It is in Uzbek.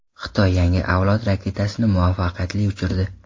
Xitoy yangi avlod raketasini muvaffaqiyatli uchirdi .